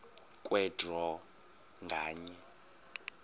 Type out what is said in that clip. kwe draw nganye